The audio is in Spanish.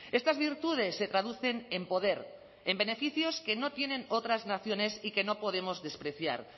estas virtudes se traducen en poder en beneficios que no tienen otras naciones y que no podemos despreciar